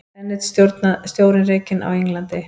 Enn einn stjórinn rekinn á Englandi